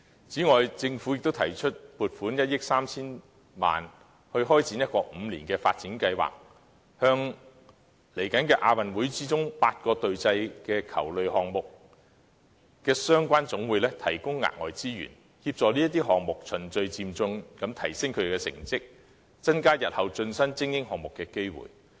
此外，政府亦提出撥款1億 3,000 萬元開展一個5年發展計劃，向未來的亞運會8個隊際球類項目的相關總會提供額外資源，協助這些項目循序漸進提升成績，增加日後成為精英項目的機會。